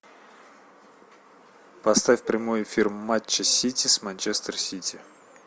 поставь прямой эфир матча сити с манчестер сити